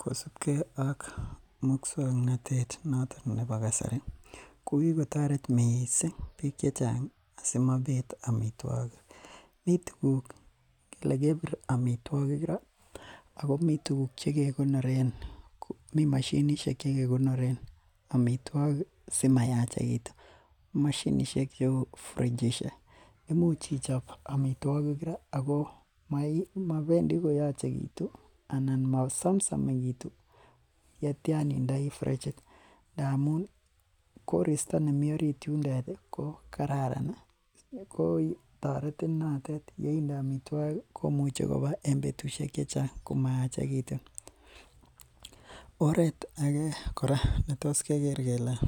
Kosibge ak musuaknotet noton nebo kasari ko kigotaret missing bik chechang asimobet amituagik. Mi tuguk, engele kibir amituagig Ra ih , Ako mi tuguk che ke konoren amituakik simayachegitum. Mashinisiek cheuu frichisiek imuch ichob amituakik cheuu, imuch ichob amituogik ra Ako ih mapendi koyachegitu anan masamsamegitu yendai frichit. Ndamun korista nemi orit yendet ko kararan ih, ko tareti natet yeinde amituakik imuche koba en betusiek chechang komayachegiti. Oret age kora yetos keger kele